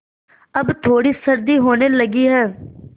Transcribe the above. अब थोड़ी सर्दी होने लगी है